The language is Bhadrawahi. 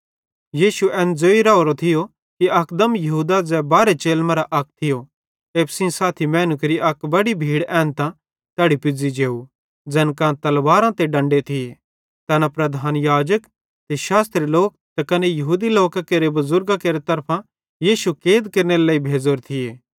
यीशु एन्ने ज़ोइ राओरो थियो कि अकदम यहूदा ज़ै बारहे चेलन मरां अक थियो एप्पू सेइं साथी मैनू केरि अक बड्डी भीड़ एन्तां तैड़ी पुज़्ज़ी जेव ज़ैन कां तलवारां ते डंडे थिये तैना प्रधान याजक ते शास्त्री लोक ते कने यहूदी लोकां केरे बुज़ुर्गां केरि तरफां यीशु कैद केरनेरे लेइ भेज़ोरे थिये